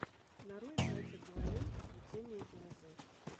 нарой братья коваленко плетение из лозы